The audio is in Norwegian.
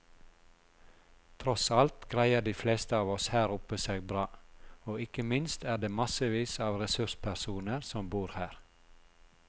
Tross alt greier de fleste av oss her oppe seg bra, og ikke minst er det massevis av ressurspersoner som bor her.